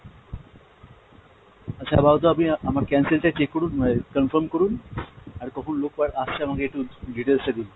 আচ্ছা আপাতত আপনি আমার cancel টা check করুন আহ confirm করুন আর কখন লোক আর আসছে আমাকে একটু details টা দিন।